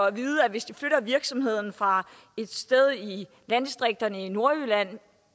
at vide at hvis de flytter virksomheden fra et sted i landdistrikterne i nordjylland